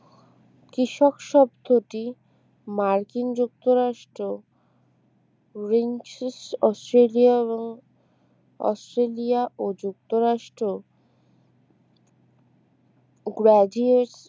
কৃষক শব্দটি মার্কিন যুক্তরাষ্ট্র রেনচেস্ট অস্ট্রেলিয়া ও অস্ট্রেলিয়া ও যুক্তরাষ্ট্র গ্রাজিয়েট